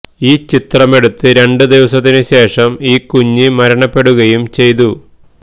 ഈ ചിത്രമെടുത്ത് രണ്ട് ദിവസത്തിനു ശേഷം ഈ കുഞ്ഞ് മരണപ്പെടുകയും ചെയ്തു